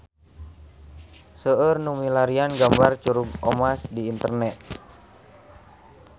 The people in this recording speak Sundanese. Seueur nu milarian gambar Curug Omas di internet